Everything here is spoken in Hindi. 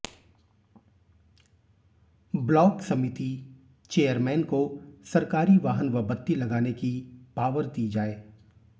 ब्लॉक समिति चेयरमैन को सरकारी वाहन व बत्ती लगाने की पावर दी जाए